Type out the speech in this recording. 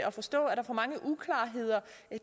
at forstå er der for mange uklarheder